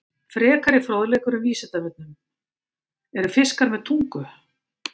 Frekari fróðleikur um Vísindavefnum: Eru fiskar með tungu?